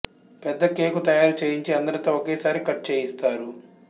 పెద్ద కేకు తయారు చేయించి ఆందరితో ఒకేసారి కట్ చేయిస్తారు